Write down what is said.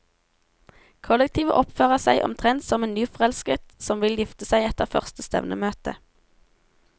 Kollektivet oppfører seg omtrent som en nyforelsket som vil gifte seg etter første stevnemøte.